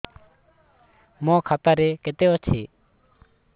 ମୋ ଖାତା ରେ କେତେ ଅଛି